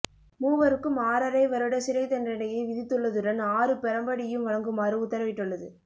மூவருக்கும் ஆறரை வருட சிறைத்தண்டனையை விதித்துள்ளதுடன் ஆறு பிரம்படியும் வழங்குமாறு உத்தரவிட்டுள்ளது